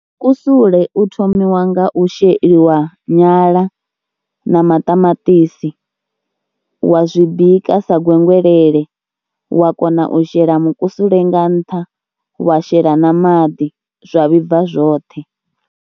Mukusule u thomiwa nga u sheliwa nyala na maṱamaṱisi wa zwi bika sa gwegwelele wa kona u shela mukusule nga nṱha, wa shela na maḓi zwa vhibva zwoṱhe.